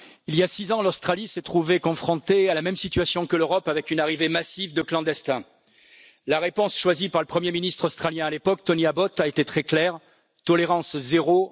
Monsieur le Président, il y a 6 ans, l'Australie s'est trouvée confrontée à la même situation que l'Europe, avec une arrivée massive de clandestins. La réponse choisie par le premier ministre australien à l'époque, Tony Abbott, a été très claire tolérance zéro,